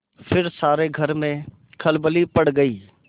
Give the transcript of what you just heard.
फिर सारे घर में खलबली पड़ गयी